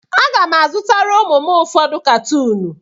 Aga m azụtara ụmụ m ụfọdụ katuun.